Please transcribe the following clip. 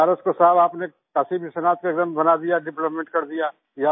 बनारस को साहब आपने काशी विश्वनाथ स्टेशन बना दिया डेवलपमेंट कर दिया